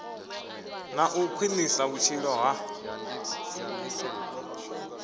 na u khwinisa vhutshilo ha